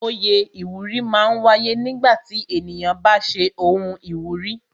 Oyè iwuri máa ń wáyé nígbà tí ènìyàn bá ṣe ohun ìwúrí